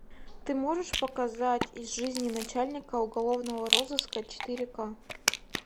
ты можешь показать из жизни начальника уголовного розыска четыре к